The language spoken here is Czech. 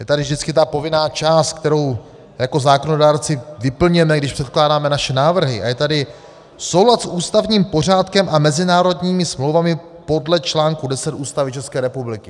Je tady vždycky ta povinná část, kterou jako zákonodárci vyplňujeme, když předkládáme naše návrhy, a je tady soulad s ústavním pořádkem a mezinárodními smlouvami podle článku 10 Ústavy České republiky.